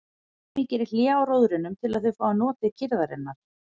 Hemmi gerir hlé á róðrinum til að þau fái notið kyrrðarinnar.